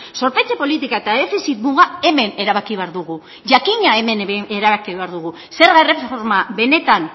zorpetze politika eta defizit muga hemen erabaki behar dugu jakina hemen erabaki behar dugu zerga erreforma benetan